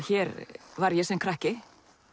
hér var ég sem krakki